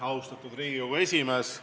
Austatud Riigikogu esimees!